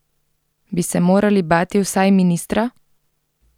Bi se morali bati vsaj ministra?